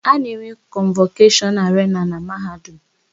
A na-enwe kọnvọkeshọn arena na Mahadum